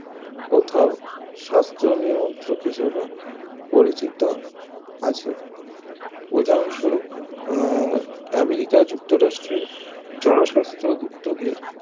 কোথাও সাস্থ নিয়ন্ত্রক হিসাবে পরিচিত আছে উদাহরণ সরুও আহ আমেরিকা যুক্তরাষ্ট্রের জনস্বাস্থ উদ্যোগের